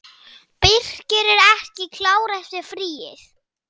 Birkir ekki klár eftir fríið?